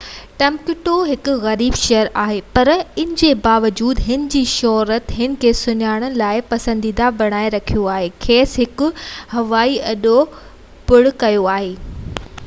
اڄ ٽمبڪتو هڪ غريب شهر آهي پر ان جي باوجود هن جي شهرت هن کي سياحت لاءِ پسنديده بڻائي رکيو آهي ۽ کيس هڪ هوائي اڏو پڻ آهي